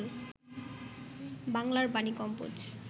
বাংলার বাণী কম্পোজ